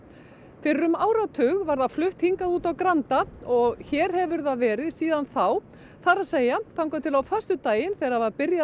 fyrir um áratug var það flutt hingað út á Granda og hér hefur það verið síðan þá það er að segja þangað til á föstudaginn þegar byrjað